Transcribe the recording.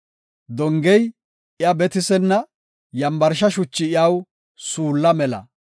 Dongey iya betisenna; yambarsha shuchi iyaw suulla mela.